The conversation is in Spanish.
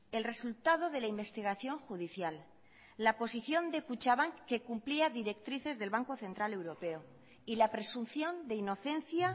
el resultado de la investigación judicial la posición de kutxabank que cumplía directrices del banco central europeo y la presunción de inocencia